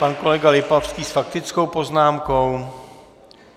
Pan kolega Lipavský s faktickou poznámkou.